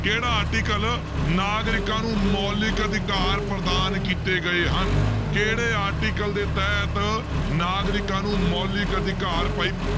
ਕਿਹੜਾ article ਨਾਗਰਿਕਾਂ ਨੂੂੰ ਮੌਲਿਕ ਅਧਿਕਾਰ ਪ੍ਰਦਾਨ ਕੀਤੇ ਗਏ ਹਨ ਕਿਹੜੇ article ਦੇ ਤਹਿਤ ਨਾਗਰਿਕਾਂ ਨੂੰ ਮੌਲਿਕ ਅਧਿਕਾਰ ਭਾਈ